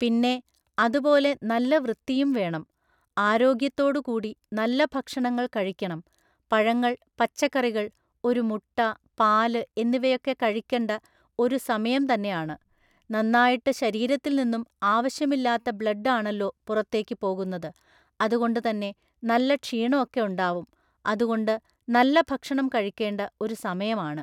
പിന്നെ, അതുപോലെ നല്ല വൃത്തിയും വേണം. ആരോഗ്യത്തോടു കൂടി നല്ല ഭക്ഷണങ്ങള്‍ കഴിക്കണം പഴങ്ങള്‍ പച്ചക്കറികള്‍ ഒരു മുട്ട പാല് എന്നിവയൊക്കെ കഴിക്കണ്ട ഒരു സമയം തന്നെ ആണ്. നന്നായിട്ട് ശരീരത്തിൽ നിന്നും ആവശ്യമില്ലാത്ത ബ്ലഡ് ആണല്ലോ പൊറത്തേക്ക് പോകുന്നത്. അതുകൊണ്ട് തന്നെ നല്ല ക്ഷീണൊക്കെ ഉണ്ടാവും. അതുകൊണ്ട് നല്ല ഭക്ഷണം കഴിക്കേണ്ട ഒരു സമയമാണ്.